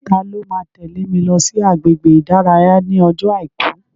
Ta ló máa tẹ́lè mi lọ sí agbègbè ìdárayá ní ọjọ́ àìkú?